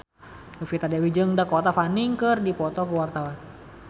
Novita Dewi jeung Dakota Fanning keur dipoto ku wartawan